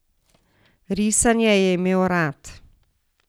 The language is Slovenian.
Risanje je imel rad.